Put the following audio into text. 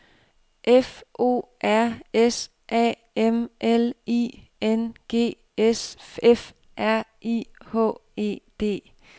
F O R S A M L I N G S F R I H E D